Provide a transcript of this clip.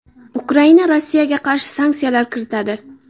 Ukraina Rossiyaga qarshi sanksiyalar kiritadi.